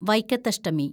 Vaikathashtami